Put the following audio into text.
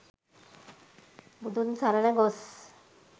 බුදුන් සරණ ගොස්